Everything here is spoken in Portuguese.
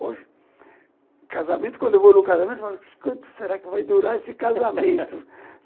Hoje, casamento, quando eu vou no casamento, eu falo, quanto será que vai durar esse casamento?